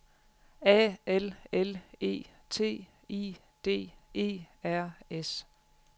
A L L E T I D E R S